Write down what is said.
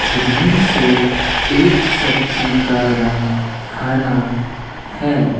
जिनमें से एक सब्जी का रंग हरा है।